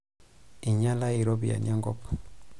Einyala ropiyiani enkop.